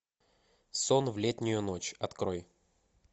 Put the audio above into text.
сон в летнюю ночь открой